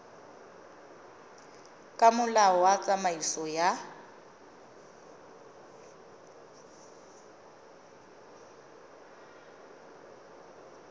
ka molao wa tsamaiso ya